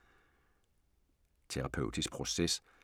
Terapeutisk proces